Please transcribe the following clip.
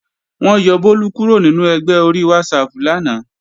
Wọ́n yọ Bólú kúrò nínú ẹgbẹ́ ori WhatsApp lánàá